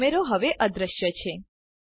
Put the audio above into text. કેમેરો હવે અદૃશ્ય છે